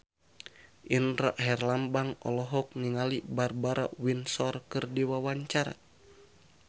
Indra Herlambang olohok ningali Barbara Windsor keur diwawancara